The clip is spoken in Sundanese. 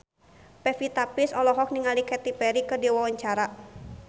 Pevita Pearce olohok ningali Katy Perry keur diwawancara